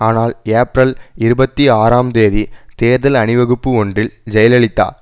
ஆனால் ஏப்ரல் இருபத்தி ஆறாம் தேதி தேர்தல் அணிவகுப்பு ஒன்றில் ஜெயலலிதா